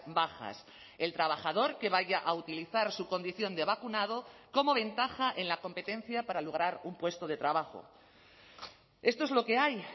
bajas el trabajador que vaya a utilizar su condición de vacunado como ventaja en la competencia para lograr un puesto de trabajo esto es lo que hay